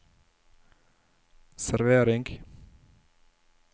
servering